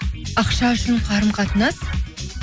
ақша үшін қарым қатынас